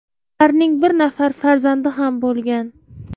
Ularning bir nafar farzandi ham bo‘lgan.